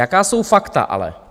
Jaká jsou fakta ale?